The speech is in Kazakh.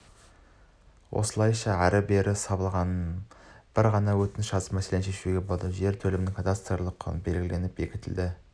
осылайша ары-бері сабылмай бір ғана өтініш жазып мәселені шешуге болады жер телімінің кадастырлық құны белгіленіп бекітіледі